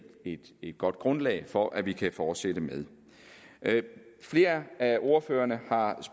et godt grundlag for at vi kan fortsætte med flere af ordførerne har